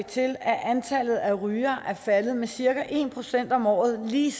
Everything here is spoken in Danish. til at antallet af rygere er faldet med cirka en procent om året lige